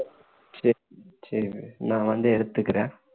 சரி சரி நான் வந்து எடுத்துக்கிறேன்